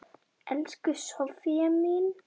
Elsku Soffía mín.